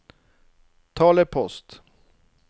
talepost